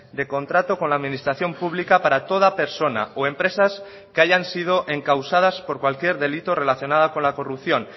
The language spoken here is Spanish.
de contrato con la administración pública para toda persona o empresas que hayan sido encausadas por cualquier delito relacionada con la corrupción